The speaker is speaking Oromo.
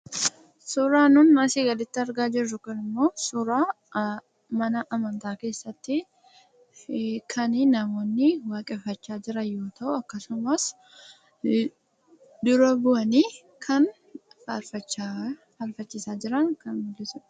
Suuraan nuti asii gaditti argaa jirru kunimmoo suuraa mana amantaa keessatti kan namoonni waaqeffachaa jiran yoo ta'u, akkasumas immoo dura bu'anii kan faarfachiisaa jiran kan mul'isudha.